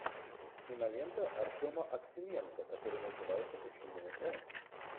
кинолента артема аксененко которая называется почему он